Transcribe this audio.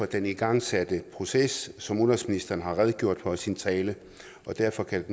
den igangsatte proces som udenrigsministeren har redegjort for i sin tale og derfor kan